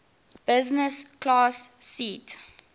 business class seat